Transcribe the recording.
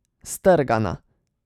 Strgana.